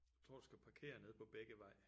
Tror du skal parkere nede på Bækkevej